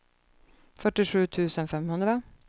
fyrtiosju tusen femhundra